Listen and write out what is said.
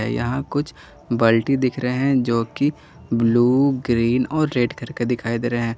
यहां कुछ बल्टी दिख रहे हैं जो कि ब्लू ग्रीन और रेड करके दिखाई दे रहे हैं।